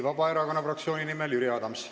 Vabaerakonna fraktsiooni nimel Jüri Adams.